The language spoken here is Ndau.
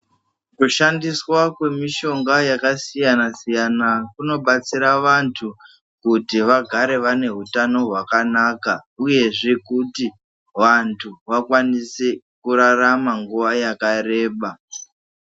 Kushandiswa kwemishonga yakasiyana siyana kunobatsira vantu kuti vagare vane utano hwakanaka uyezve kuti vantu vakwanise kurarama nguwa yakareba.